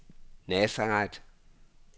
Nazareth